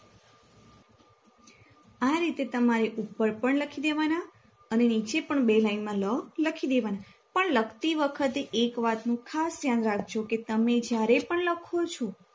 આ રીતે તમારે ઉપર પણ લખીદેવાના અને નીચે પણ બે લાઇનમાં લ લખીદેવાના પણ લખતી વખતે એક વાતનું ખાસ ધ્યાન રાખજો કે તમે જ્યારે પણ લખો છો